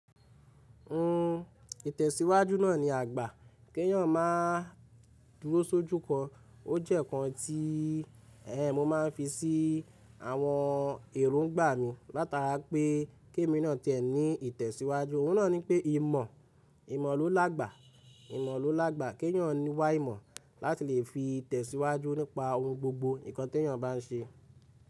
Nnú ìtẹ̀síwájú náà ni àgbà, kí èyàn máa dúró so juko. Ó jẹ́ kan tí eh mo máa ń fi sí àwọn èròngbà mi látara pé kí èmi náà tẹ̀ ní ìtẹ̀síwájú. Ohun náà ni pé ìmọ̀, ìmọ̀ ló lágba, ìmọ̀ ló lágba. Kí èyàn ní wá ìmọ̀ láti lè fi ìtẹ̀síwájú nípa ohun gbogbo ǹkan tí èyàn bá ń ṣe.